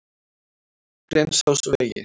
Grensásvegi